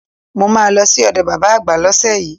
Màá lọ sí òdo bàbá àgbà lósè yíí